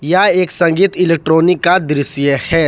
यह एक संगीत इलेक्ट्रॉनिक का दृश्य है।